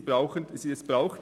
Es braucht sie in der Tat.